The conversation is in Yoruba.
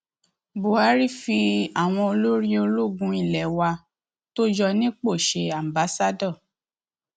buhari fi àwọn olórí ológun ilé wa tó yọ nípò ṣe aḿbaṣado